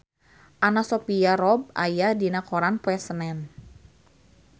Anna Sophia Robb aya dina koran poe Senen